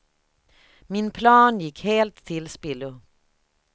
Min plan gick helt till spillo.